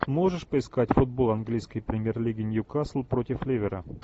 можешь поискать футбол английской премьер лиги ньюкасл против ливера